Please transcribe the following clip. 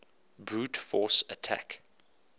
brute force attack